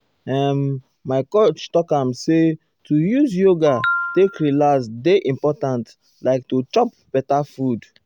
ehen! my coach talk am say to use yoga take relax dey important like to chop better food.